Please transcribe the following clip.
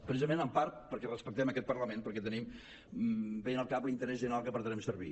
precisament en part perquè respectem aquest parlament perquè tenim ben al cap l’interès general que pretenem servir